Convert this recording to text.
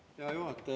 Hea juhataja!